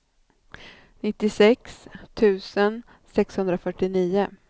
nittiosex tusen sexhundrafyrtionio